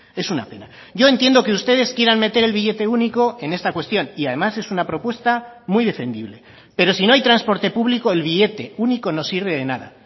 es una pena yo entiendo que ustedes quieran meter el billete único en esta cuestión y además es una propuesta muy defendible pero si no hay transporte público el billete único no sirve de nada